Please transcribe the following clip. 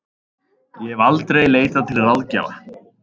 Ég hef aldrei leitað til ráðgjafa.